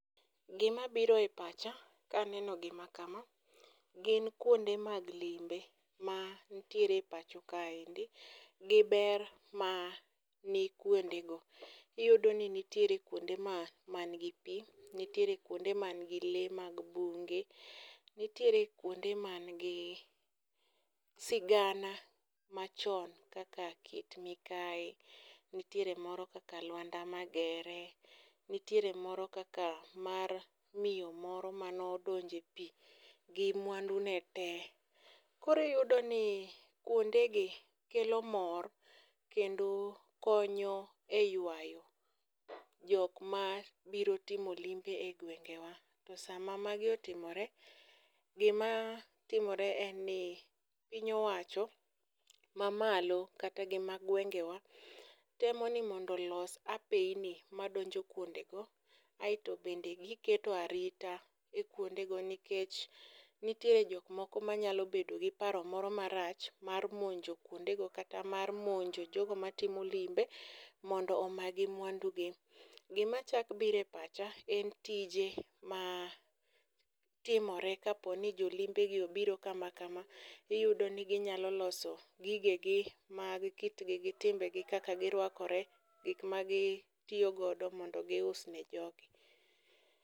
Gima biro e pacha kaneno gima kama, gin kuonde mag limbe ma ntiere e pacho kaendi gi ber ma ni kuonde go. Iyudo ni nitiere kuonde ma manigi pi, nitiere kuonde man gi le mag bunge. Nitiere kuonde man gi sigana machon kaka Kit Mikayi, nitiere moro kaka Luanda Magere, nitiere moro kaka mar miyo moro mano donje pi gi mwandu ne te. Koriyudo ni kuonde gi kelo mor kendo konyo e ywayo jok ma biro timo limbe e gwenge wa. To sama magi otimore, gima timore en ni piny owacho ma malo kata gi ma gwenge wa, temo ni mondo los apeyni ma donjo kuonde go. Aeto bende giketo arita e kuonde go nikech nitiere jok moko manyalo bedo gi paro marach ma nyalo monjo kuonde go. Kata mar monjo jogo ma timo limbe mondo omagi mwandu gi. Gima chak bire pacha en tije ma timore ka poni jolimbe gi obiro kama kama, iyudo ni ginyalo loso gige gi mag kitgi gi timbe gi kaka girwakore, gik ma gitiyogodo mondo gius ne jogi.